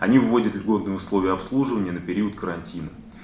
они вводят льготные условия обслуживания на период карантина